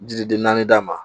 Jiriden naani d'a ma